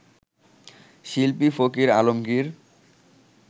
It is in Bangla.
শিল্পী ফকির আলমগির